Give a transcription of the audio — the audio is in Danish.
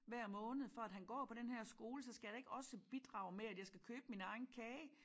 Hver måned for at han går på den her skole så skal jeg da ikke også bidrage med at jeg skal købe min egen kage